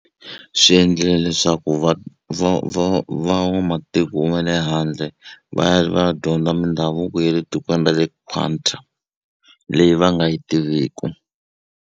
Swi endlile leswaku va va van'wamatiko ma le handle va ya va ya dyondza mindhavuko ya le tikweni ra le Qatar leyi va nga yi tiviku.